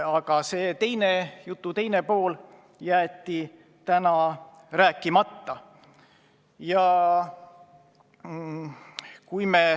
Aga see, jutu teine pool jäeti täna rääkimata.